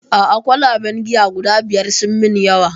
A'a kwalaben giya guda biyar sun min yawa